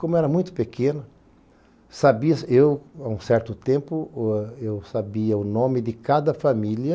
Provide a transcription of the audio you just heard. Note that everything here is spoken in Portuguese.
Como eu era muito pequeno, sabia-se eu, há um certo tempo, o, eu sabia o nome de cada família,